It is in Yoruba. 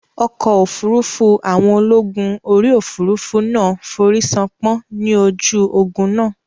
Ọkọ̀ òfurufú àwọn ológun orí òfurufú náà forísánpán ní ojú ogun náà